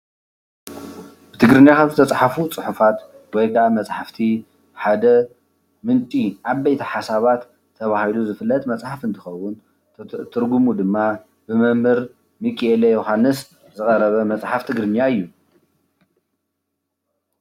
ትግርኛ ካብ ዝተፅሓፉ ፅሑፋት ወይ ክዓ መፅሓፍቲ ሓደ ምንጪ ዓበይቲ ሓሳባት ተባሂሉ ዝፍለጥ መፅሓፍ እንትኸዉን ትርጉሙ ድማ ብመምህር ሚኪኤለ ዮዉሃንስ ዝቐረበ መፅሓፍ ትግርኛ እዩ።